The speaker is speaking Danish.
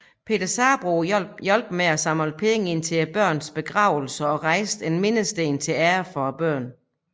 Peter Sabroe hjalp med at samle penge ind til børnenes begravelser og rejse en mindesten til ære for børnene